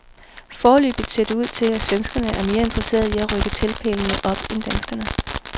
Foreløbigt ser det ud til, at svenskerne er mere interesseret i at rykke teltpælene op end danskerne.